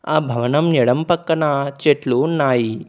ఆ భవనం ఎడమ పక్కన చెట్లు ఉన్నాయి.